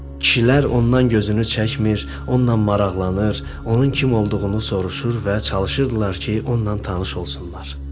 Kişilər ondan gözünü çəkmir, onunla maraqlanır, onun kim olduğunu soruşur və çalışırdılar ki, onunla tanış olsunlar.